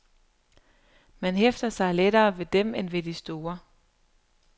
Man hæfter sig lettere ved dem end ved de store.